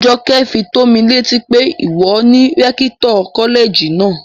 Jọkẹ́ fi tómi létí pé ìwọ ni rẹ́kítọ̀ kọ́lẹ̀jì náà